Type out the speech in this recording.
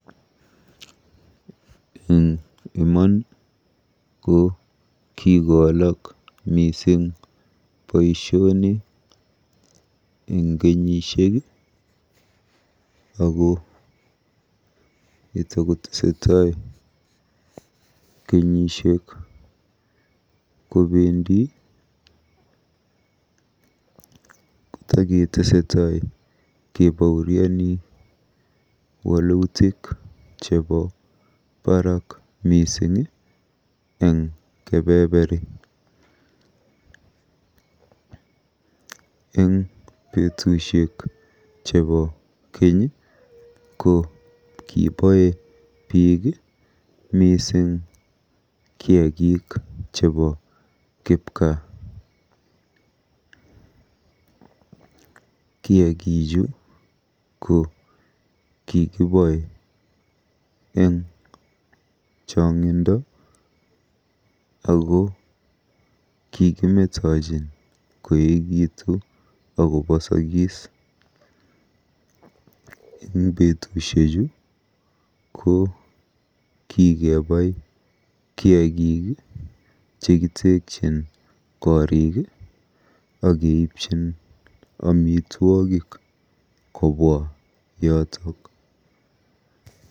Eng iman ko kikowalak mising boisioni eng kenyisiek ako yetakotesetai kenyisiek kobendi kotaketesetai kebauriani wolutik chebo baraak mising eng kebeberi. Eng betusiek chebo keny ko kiboe biik mising kiagik chebo kipgaa. kiagichu ko kikiboe eng chong'indo ak kikimetochin koekitu akobosokis. Eng betusiechu ko kikebai kiagik chekitekyin gorik akeipchin amitwogik kobwa yotok.